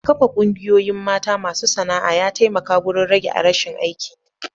Kafa Ƙungiyoyin mata masu sana'a ya taimaka wurin rage rashin aikin yi.